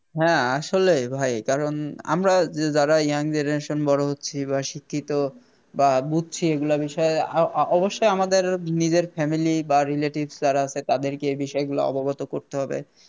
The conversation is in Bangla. হ্যাঁ আসলে ভাই কারণ আমরা যে যারা Young generation বড় হচ্ছি বা শিক্ষিত বা বুঝছি এইগুলা বিষয় আ~ ও~ অবশ্যই আমাদের নিজের Family বা Relative যারা আছে তাদেরকে এই বিষয়গুলা অবগত করতে হবে